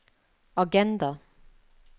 agenda